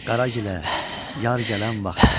Qaragilə, yar gələn vaxtdır.